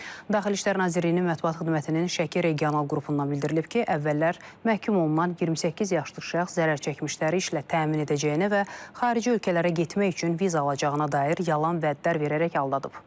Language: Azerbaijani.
Daxili İşlər Nazirliyinin mətbuat xidmətinin Şəki regional qrupundan bildirilib ki, əvvəllər məhkum olunan 28 yaşlı şəxs zərərçəkmişləri işlə təmin edəcəyinə və xarici ölkələrə getmək üçün viza alacağına dair yalan vədlər verərək aldadıb.